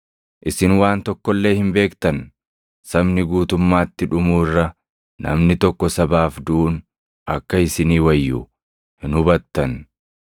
Sabni guutummaatti dhumuu irra namni tokko sabaaf duʼuun akka isinii wayyu hin hubattan.”